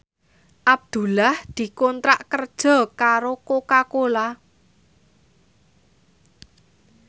Abdullah dikontrak kerja karo Coca Cola